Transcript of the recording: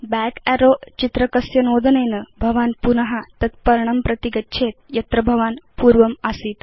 back arrow चित्रकस्य नोदनेन भवान् पुन तत् पर्णं प्रति गच्छेत् यत्र भवान् पूर्वम् आसीत्